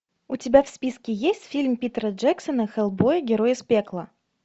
у тебя в списке есть фильм питера джексона хеллбой герой из пекла